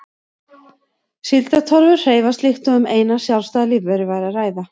Síldartorfur hreyfast líkt og um eina sjálfstæða lífveru væri að ræða.